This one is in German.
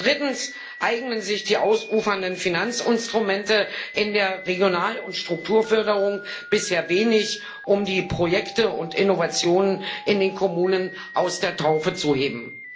Drittens eignen sich die ausufernden Finanzinstrumente in der Regional und Strukturförderung bisher wenig, um die Projekte und Innovationen in den Kommunen aus der Taufe zu heben.